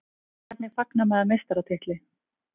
Hvernig fagnar maður meistaratitli?